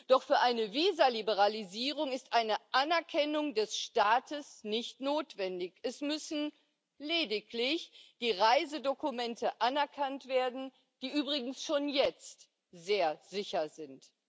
Doch für eine Visaliberalisierung ist eine Anerkennung des Staates nicht notwendig, es müssen lediglich die Reisedokumente anerkannt werden, die übrigens schon jetzt sehr sicher sind.